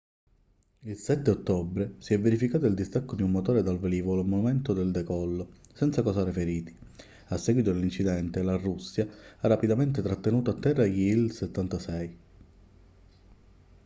il 7 ottobre si è verificato il distacco di un motore dal velivolo al momento del decollo senza causare feriti a seguito dell'incidente la russia ha rapidamente trattenuto a terra gli il-76